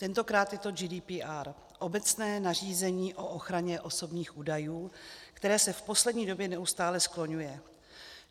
Tentokrát je to GDPR, obecné nařízení o ochraně osobních údajů, které se v poslední době neustále skloňuje.